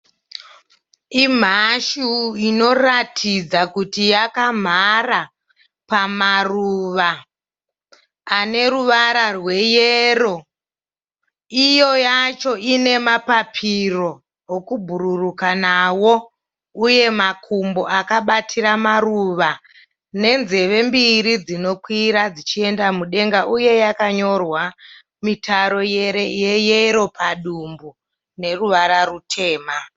Imhashu inoratidza kuti yakamhara pamaruva ane ruvara rweyero. Iyo yacho ine mapapiro okubhururuka nawo uye makumbo akabatira maruva nenzeve mbiri dzinokwira dzichienda mudenga uye yakanyorwa mitaro yeyero padumbu neruvara rutema.